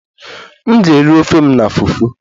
M ga-eri ofe m na fufu